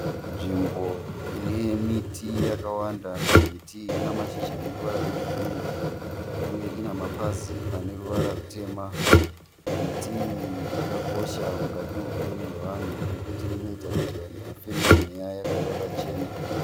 Nzvimbo ine miti yakawanda. Miti iyi ine mashizha ane ruvara rwegirini uye ine mapazi ane ruvara rutema. Miti iyi yakakosha mukati meupenyu hwevanhu nokuti inoita kuti vanhu vafeme mweya wakachena.